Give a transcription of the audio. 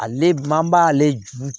Ale man b'ale